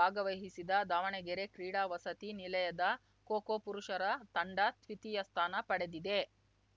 ಭಾಗವಹಿಸಿದ ದಾವಣಗೆರೆ ಕ್ರೀಡಾ ವಸತಿ ನಿಲಯದ ಖೋಖೋ ಪುರುಷರ ತಂಡ ದ್ವಿತೀಯ ಸ್ಥಾನ ಪಡೆದಿದೆ